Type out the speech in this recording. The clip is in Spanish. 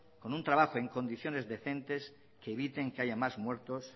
con un trabajo en condiciones decentes que eviten que haya más muertos